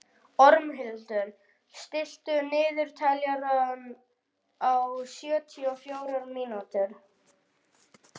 Ormhildur, stilltu niðurteljara á sjötíu og fjórar mínútur.